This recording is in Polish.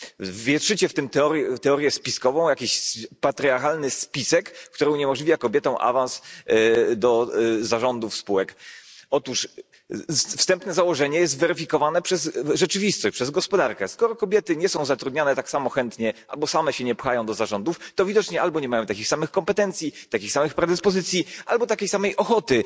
Wietrzycie w tym teorię spiskową, jakiś patriarchalny spisek, który uniemożliwia kobietom awans do zarządów spółek. Otóż wstępne założenie jest weryfikowane przez rzeczywistość, przez gospodarkę skoro kobiety nie są zatrudniane tak samo chętnie, albo same się nie pchają do zarządów, to widocznie albo nie mają takich samych kompetencji, takich samych predyspozycji, albo takiej samej ochoty